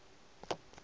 le go ka se be